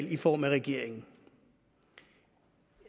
i form af regeringen